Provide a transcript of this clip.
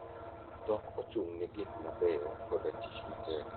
Dhok ochung'ne gik mabeyo koda tich matek.